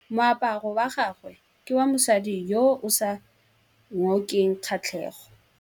Moaparô wa gagwe ke wa mosadi yo o sa ngôkeng kgatlhegô.